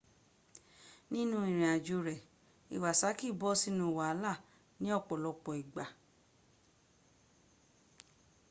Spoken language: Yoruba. nínú ìrìnàjò rẹ´ iwasaki bọ sínú wàhálà ní ọ̀pọ̀lọpọ ìgbà